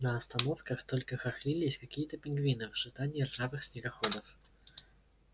на остановках только хохлились какие-то пингвины в ожидании ржавых снегоходов